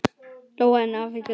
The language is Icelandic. Lóa: En af hverju núna?